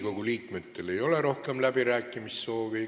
Riigikogu liikmetel ei ole rohkem läbirääkimissoove.